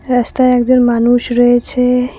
রাস্তায় একজন মানুষ রয়েছে।